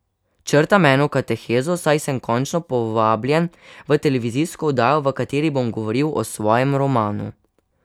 Črtam eno katehezo, saj sem končno povabljen v televizijsko oddajo, v kateri bom govoril o svojem romanu.